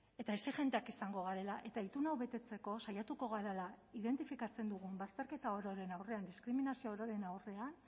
eta exijenteak izango garela eta itun hau betetzeko saiatuko garela identifikatzen dugun bazterketa ororen aurrean diskriminazio ororen aurrean